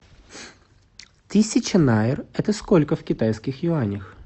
тысяча найр это сколько в китайских юанях